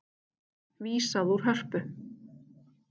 Vísað úr Hörpu